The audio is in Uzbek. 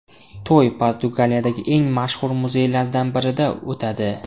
To‘y Portugaliyadagi eng mashhur muzeylardan birida o‘tadi.